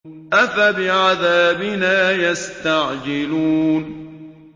أَفَبِعَذَابِنَا يَسْتَعْجِلُونَ